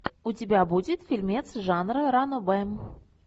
у тебя будет фильмец жанра ранобэ